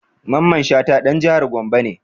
Mamman Shata ɗan jihar Gombe ne